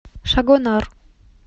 шагонар